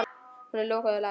Hún er lokuð og læst.